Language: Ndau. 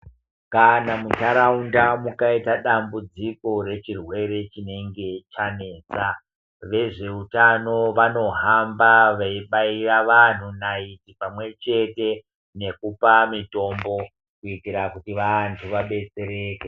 Kana muntaraunda mukaita dambudziko rechirwere chinenge chanetsa, vezveutano vanohamba veibaira vanhu naiti ,pamwe chete nekupa mitombo, kuitira kuti vantu vabetsereke.